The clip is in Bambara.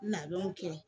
Labɛnw kɛ